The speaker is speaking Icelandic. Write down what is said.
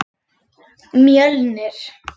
Mjölnir